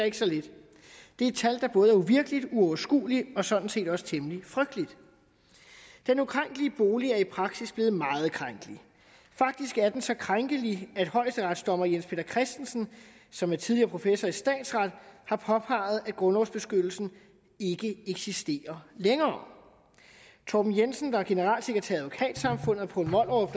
ikke så lidt det er et tal der både er uvirkeligt uoverskueligt og sådan set også temmelig frygteligt den ukrænkelige bolig er i praksis blevet meget krænkelig faktisk er den så krænkelig at højesteretsdommer jens peter christensen som er tidligere professor i statsret har påpeget at grundlovens beskyttelse ikke eksisterer længere torben jensen der er generalsekretær i advokatsamfundet poul mollerup